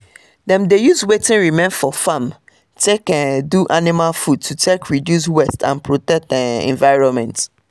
them dey use wetin remain for farm take um do animal food to take reduce um waste and protect the um environment